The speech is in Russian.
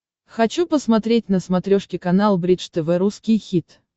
хочу посмотреть на смотрешке канал бридж тв русский хит